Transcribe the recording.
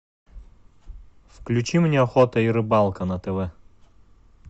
включи мне охота и рыбалка на тв